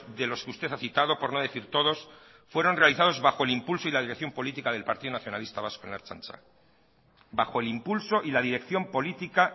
de los que usted ha citado por no decir todos fueron realizados bajo el impulso y la dirección política del partido nacionalista vasco en la ertzaintza bajo el impulso y la dirección política